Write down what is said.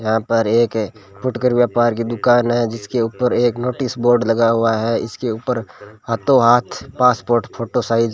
यहां पर एक है फुटकर व्यापार की दुकान है जिसके ऊपर एक नोटिस बोर्ड लगा हुआ है इसके ऊपर हाथों हाथ पासपोर्ट फोटो साइज ।